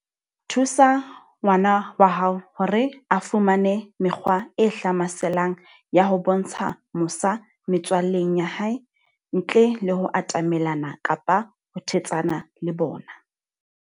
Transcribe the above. Thusa ngwana wa hao hore a fumane mekgwa e hlamaselang ya ho bontsha mosa metswalleng ya hae, ntle le ho atamelana kapa ho thetsana le bona.